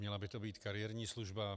Měla by to být kariérní služba.